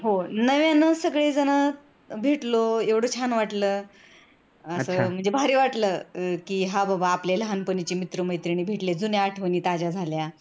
हो, नव्याने सगळीजण भेटलो एवढ छान वाटल म्हणजे भारी वाटलं कि हा बाबा आपले लहानपणीचे मित्रमैत्रिणी भेटले जुन्या आठवणी ताज्या झाल्या.